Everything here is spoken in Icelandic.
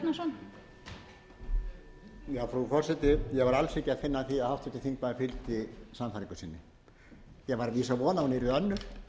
ekki að finna að því að háttvirtur þingmaður fylgdi sannfæringu sinni ég var að vísu að vona að hún yrði önnur